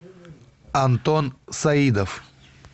антон саидов